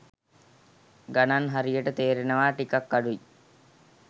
ගණන් හරියට තේරෙනවා ටිකක් අඩුයි.